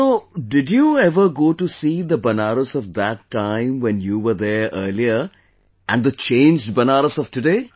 So, did you ever go to see the Banaras of that time when you were there earlier and the changed Banaras of today